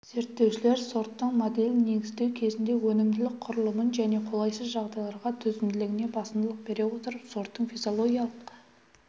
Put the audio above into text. зерттеушілер сорттың моделін негіздеу кезінде өнімділік құрылымын және қолайсыз жағдайларға төзімділігіне басымдылық бере отырып сорттың физиологиялық